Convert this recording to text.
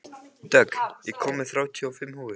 Dögg, ég kom með þrjátíu og fimm húfur!